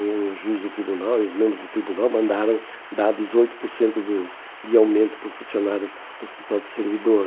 O juiz do tribunal e os membros do tribunal mandaram dar dezoito por cento do de aumento para o funcionário do Hospital do Servidor.